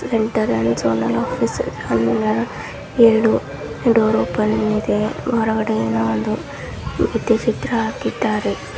Enter and office ಕಲ್ಲಿನ ಎರಡು door open ಇದೆ ಹೊರಗಡೆದು ಏನೊ ಒಂದು ಈ ರೀತಿ ಚಿತ್ರ ಹಾಕಿದಾರೆ.